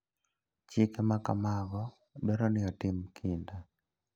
Chike ma kamago dwaro ni otim kinda.